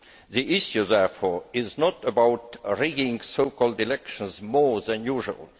The issue, therefore, is not about rigging so called elections more than usual.